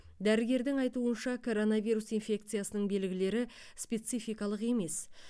дәргердің айтуынша коронавирус инфекциясының белгілері спецификалық емес